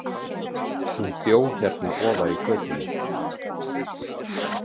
Hún bjó hérna ofar í götunni.